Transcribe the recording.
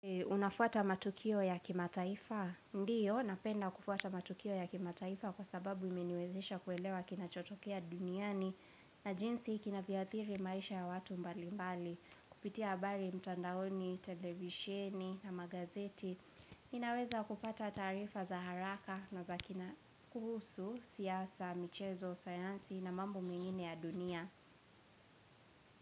Unafuata matukio ya kimataifa? Ndio, napenda kufuata matukio ya kimataifa kwa sababu imeniwezesha kuelewa kinachotokea duniani na jinsi kina vyo athiri maisha ya watu mbali mbali kupitia habari mtandaoni, televisieni na magazeti Ninaweza kupata taarifa za haraka na za kina kuhusu, siasa, michezo, sayansi na mambo mengine ya dunia.